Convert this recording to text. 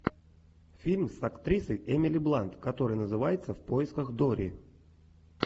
фильм с актрисой эмили блант который называется в поисках дори